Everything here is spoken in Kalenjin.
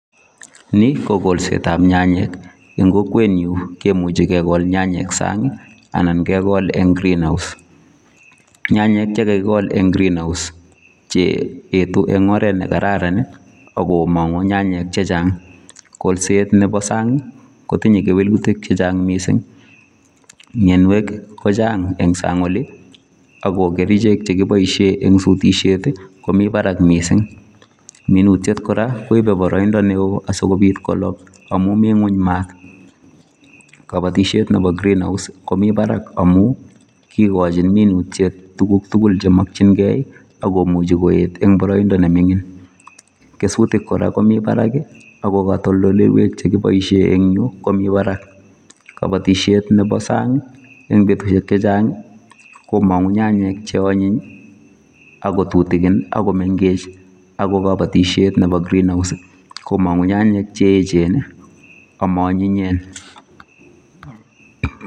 Nii, ko kolset ab nyanyek. En kokwet nyun kemuche kekol nyanyek en sang' anan kegol en green house. Nyanyek chekakigol en green house, che yetu en oret nekararan , agomong'u nyanyek chechang'. Koset nebo sang' kotinye kewelutik chechang' mising. Mionwogik kochang' en sang' oli , ako kerichek chekiboisien en sutisyet, komi barak mising. Minutiet kora koipe boroindo newo asikopiit kolob amun mi ng'weny maat. Kobotisiet nebo greenhouse komi barak amun ,kigochin minutiet tuguk tugul chemokyin kee, okomuche koet en boroindo nemining'. Kesutik kora komi barak, ako kotoldoleiwek chekiboisien en yuu komi barak. Kobotisiet nebo sang' en betusiek chechang' komong'u nyanyek cheonyiny ak kotutigin, akomeng'ech. Ako kobotisiet nepo green house, komong'u nyanyek cheechen amoonyinyen.